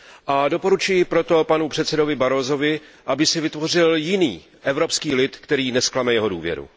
A doporučuji proto panu předsedovi Barrosovi, aby si vytvořil jiný evropský lid, který nezklame jeho důvěru.